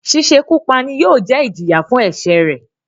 “ sísekú pa" ni yóò jẹ́ ẹ́ ìjìyà fún ẹ̀sẹ̀rẹ̀.